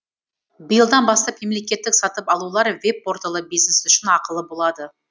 биылдан бастап мемлекеттік сатып алулар веб порталы бизнес үшін ақылы болады